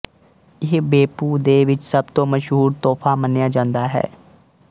ਇਹ ਬੇੱਪੁ ਦੇ ਵਿੱਚ ਸਬ ਤੋਂ ਮਸ਼ਹੂਰ ਤੋਫ਼ਾ ਮੰਨਿਆ ਜਾਂਦਾ ਹੈ